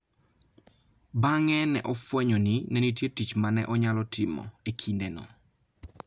Bang'e ne ofwenyo ni ne nitie tich ma ne onyalo timo e kindeno.